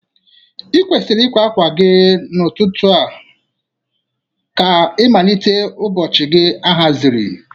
I kwesiri ịkwa akwa gị n'ụtụtụ a ka ịmalite ụbọchị gị ahaziri.